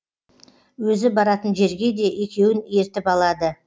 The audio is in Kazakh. өзі баратын жерге де екеуін ертіп алады